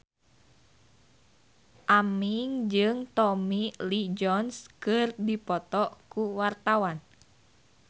Aming jeung Tommy Lee Jones keur dipoto ku wartawan